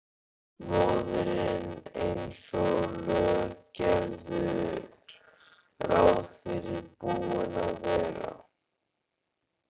Móðirin eins og lög gerðu ráð fyrir búin að vera.